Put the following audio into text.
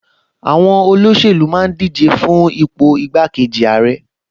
Àwọn olóṣèlú máa ń díje fún ipò igbákejì ààrẹ